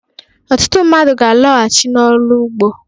Ọtụtụ mmadụ ga-alọghachi n'ọrụ ụgbọ.